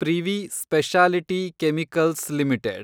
privy speciality chemicals limited